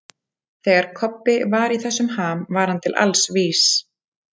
Þegar Kobbi var í þessum ham var hann til alls vís.